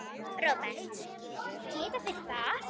Róbert: Geta þeir það?